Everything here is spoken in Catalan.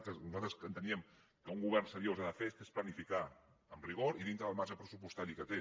que nosaltres enteníem que un govern seriós ha de fer que és planificar amb rigor i dintre del marge pressupostari que té